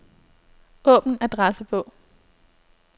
Åbn adressebog.